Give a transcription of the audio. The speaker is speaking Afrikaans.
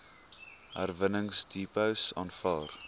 herwinningsdepots aanvaar